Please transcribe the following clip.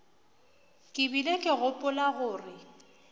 ke bile ke gopola gore